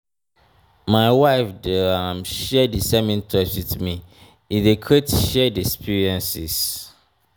my wife dey um share di same interests wit me e dey create shared experiences.